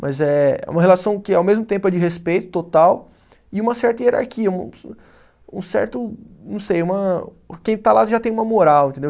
Mas é uma relação que ao mesmo tempo é de respeito total e uma certa hierarquia, um um certo, não sei, quem está lá já tem uma moral, entendeu?